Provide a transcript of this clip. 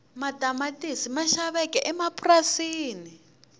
matamatisi ma xaveka emapurasini